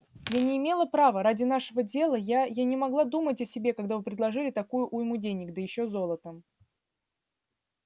я не имела права ради нашего дела я я не могла думать о себе когда вы предложили такую уйму денег да ещё золотом